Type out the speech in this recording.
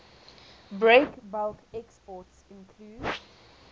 breakbulk exports include